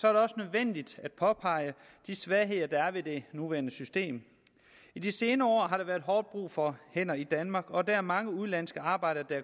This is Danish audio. er det også nødvendigt at påpege de svagheder der er i det nuværende system i de senere år har der været hårdt brug for hænder i danmark og der er kommet mange udenlandske arbejdere